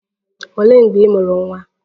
Olee mgbe ị mụrụ nwa?